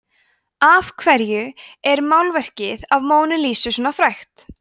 af hverju er málverkið af mónu lísu svona frægt